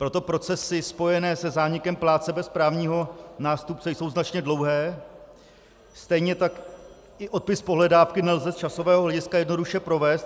Proto procesy spojené se zánikem plátce bez právního nástupce jsou značně dlouhé, stejně tak i odpis pohledávky nelze z časového hlediska jednoduše provést.